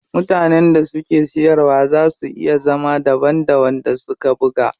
Mutanen da suke siyarwa zaa su iya zama daban da wanda suka buga.